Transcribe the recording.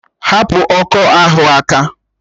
Hapụ ọkọ ahụ aka!